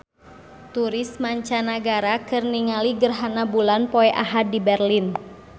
Turis mancanagara keur ningali gerhana bulan poe Ahad di Berlin